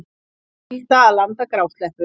Skylda að landa grásleppu